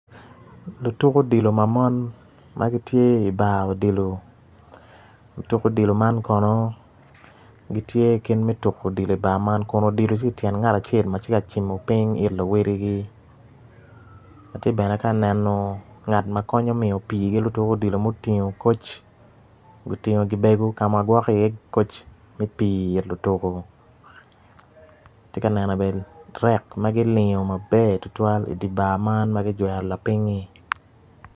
Lutuk odilo ma mon ma gitye i bar odilo otuk odilo ma kono gitye kit me tuko odilo kun odilo tye ityen ngat acel ma tye ka cimo piny it luwotgi atye bene ka neno ngat ma konyo miyo pii ki lutuk odilo ma otingo koc otingo gibego ka ma gwoko iye koc me pii it lutuko atye ka neno bene rek ma kilingo mber tutwal idye bar man ma kilingo maber tutwal-li idi bar man ma kijwero lapingngi.